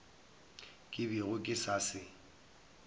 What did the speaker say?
ke bego ke sa se